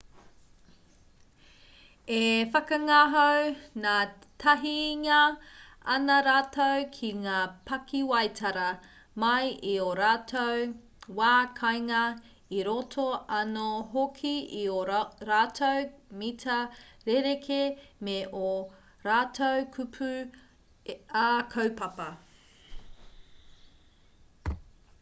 e whakangahau ngātahingia ana rātou ki ngā pakiwaitara mai i ō rātou wā kāinga i roto anō hoki i ō rātou mita rerekē me ō rātou kupu ā-kaupapa